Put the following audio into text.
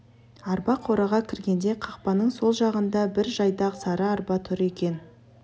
арба қораға кіргенде қақпаның сол жағында бір жайдақ сары арба тұр екен